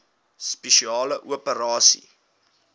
spesiale operasies dso